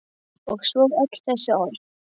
Annað væri ekki við hæfi.